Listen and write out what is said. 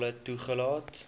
ten volle toegelaat